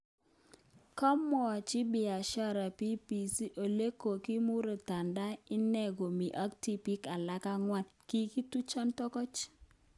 Komwach Biashara BBC olekogimuratan ine komii ak tibiik alak angwan: kikitucho toget